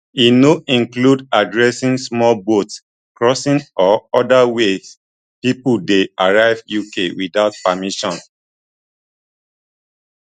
e no include addressing small boat crossings or oda ways pipo dey arrive uk without permission